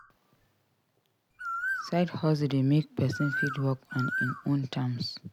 Side hustle de make persin fit work on in own terms